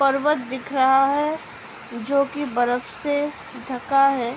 पर्वत दिख रहा है | जोकि बरफ से ढका है ।